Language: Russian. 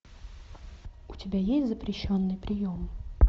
у тебя есть запрещенный прием